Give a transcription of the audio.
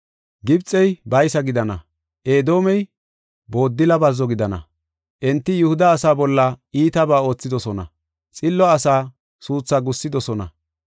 “Gibxey baysa gidana; Edoomey booddila bazzo gidana. Enti Yihuda asaa bolla iitabaa oothidosona; xillo asaa suuthaa gussidosona.